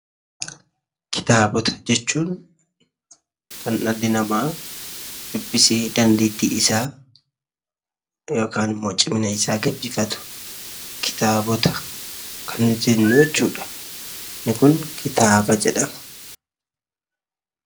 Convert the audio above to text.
Kitaabota jechuun kan dhalli namaa dubbisee dandeetti isaa yookaan ammoo cimina isaa gabbifatu kitaabota kan jennu jechuudha. Inni kun kitaaba jedhama.